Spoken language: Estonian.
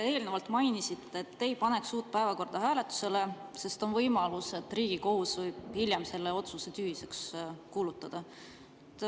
Te eelnevalt mainisite, et te ei paneks uut päevakorda hääletusele, sest on võimalus, et Riigikohus võib hiljem selle otsuse tühiseks kuulutada.